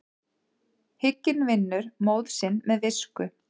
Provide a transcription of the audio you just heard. Hygginn vinnur móð sinn með visku.